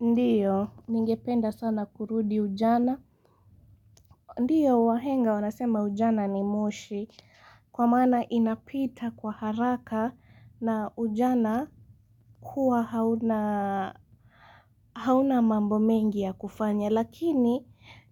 Ndiyo, ningependa sana kurudi ujana. Ndiyo, wahenga, wanasema ujana ni moshi. Kwa maana inapita kwa haraka na ujana huwa hauna mambo mengi ya kufanya. Lakini,